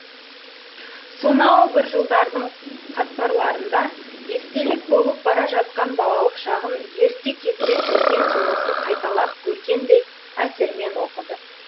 сонау бір жылдардың қатпарларында естелік болып бара жатқан балалық шағын ерте кезде көрген киносын қайталап көргендей әсермен оқыды